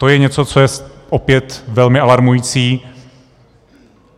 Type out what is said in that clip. To je něco, co je opět velmi alarmující.